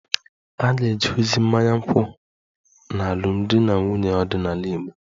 A ga-eje ozi mmanya nkwụ n'alụmdi na nwunye ọdịnala Igbo